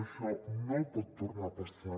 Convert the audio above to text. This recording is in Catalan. això no pot tornar a passar